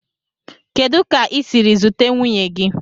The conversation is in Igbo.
Kedu ka i siri zute nwunye gi?